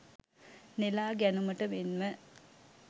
නෙළා ගැනුමට මෙන්ම